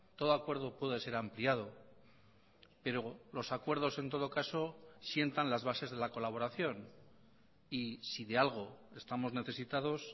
todo acuerdo puede ser ampliado pero los acuerdos en todo caso sientan las bases de la colaboración y si de algo estamos necesitados